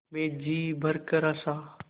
मैं जी भरकर हँसा